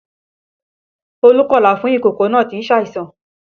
Olú kọlà fún ìkókó náà tí ń ṣe àìsàn